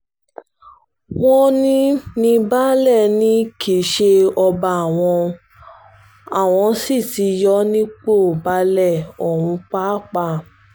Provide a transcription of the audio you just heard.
wọ́n ní ní baálé ni kì í ṣe ọba àwọn sì ti yọ ọ́ nípò baálé ọ̀hún pàápàá